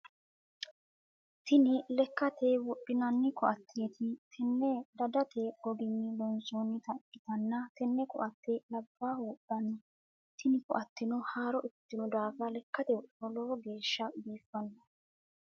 Tinni lekate wodhinnanni koateeti. Tenne dadate goginni loonsoonnita ikitanna tenne koate labaahu wodhano. Tinni koate haaro ikitino daafira lekate wodhinniro lowo geesha biifanno.